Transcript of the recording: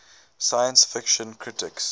science fiction critics